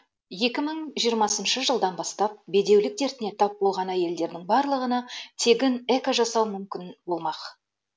екі мың жиырмасыншы жылдан бастап бедеулік дертіне тап болған әйелдердің барлығына тегін эко жасау мүмкін болмақ